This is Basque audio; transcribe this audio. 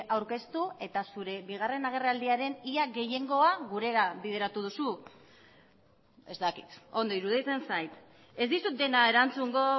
aurkeztu eta zure bigarren agerraldiaren ia gehiengoa gurera bideratu duzu ez dakit ondo iruditzen zait ez dizut dena erantzungo